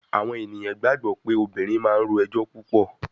Àwọn ènìyàn gbàgbọ́ pé obìnrin máa ń ro ẹjọ́ púpọ̀.